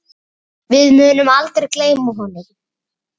Við munum aldrei gleyma honum.